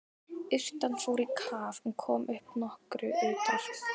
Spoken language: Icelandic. Urtan fór í kaf en kom upp nokkru utar.